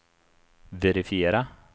verifiera